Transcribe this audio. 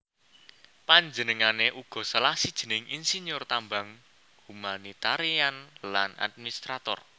Panjenengané uga salah sijining insinyur tambang humanitarian lan administrator